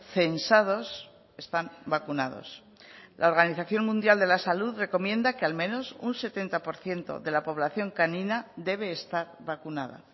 censados están vacunados la organización mundial de la salud recomienda que al menos un setenta por ciento de la población canina debe estar vacunada